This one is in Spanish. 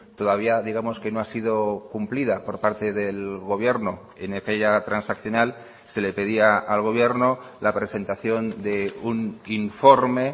todavía digamos que no ha sido cumplida por parte del gobierno en aquella transaccional se le pedía al gobierno la presentación de un informe